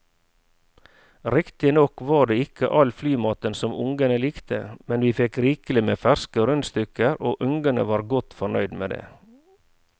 Riktignok var det ikke all flymaten som ungene likte, men vi fikk rikelig med ferske rundstykker og ungene var godt fornøyd med det.